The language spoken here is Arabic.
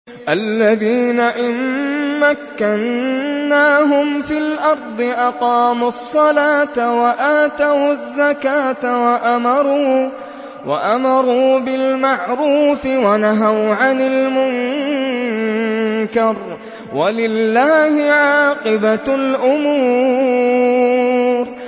الَّذِينَ إِن مَّكَّنَّاهُمْ فِي الْأَرْضِ أَقَامُوا الصَّلَاةَ وَآتَوُا الزَّكَاةَ وَأَمَرُوا بِالْمَعْرُوفِ وَنَهَوْا عَنِ الْمُنكَرِ ۗ وَلِلَّهِ عَاقِبَةُ الْأُمُورِ